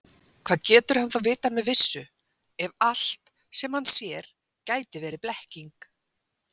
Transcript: Hvað getur hann þá vitað með vissu, ef allt, sem hann sér, gæti verið blekking?